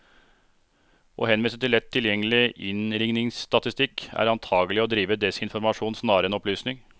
Å henvise til lett tilgjengelig innringningsstatistikk, er antagelig å drive desinformasjon snarere enn opplysning.